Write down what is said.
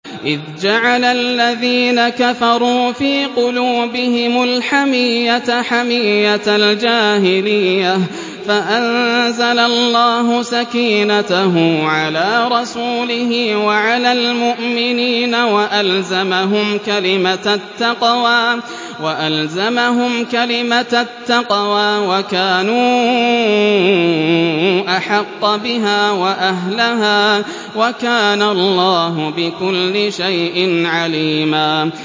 إِذْ جَعَلَ الَّذِينَ كَفَرُوا فِي قُلُوبِهِمُ الْحَمِيَّةَ حَمِيَّةَ الْجَاهِلِيَّةِ فَأَنزَلَ اللَّهُ سَكِينَتَهُ عَلَىٰ رَسُولِهِ وَعَلَى الْمُؤْمِنِينَ وَأَلْزَمَهُمْ كَلِمَةَ التَّقْوَىٰ وَكَانُوا أَحَقَّ بِهَا وَأَهْلَهَا ۚ وَكَانَ اللَّهُ بِكُلِّ شَيْءٍ عَلِيمًا